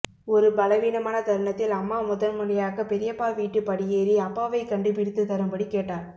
ஒரு பலவீனமான தருணத்தில் அம்மா முதன்முறையாக பெரியப்பா வீட்டுப் படியேறி அப்பாவைக் கண்டுபிடித்துத் தரும்படி கேட்டாள்